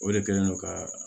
O de kɛlen do ka